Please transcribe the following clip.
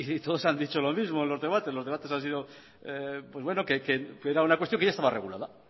y todos han dicho lo mismo los debates era una cuestión que ya estaba regulada